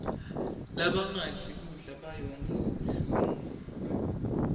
labangadli kudla bayondza kabuhlungu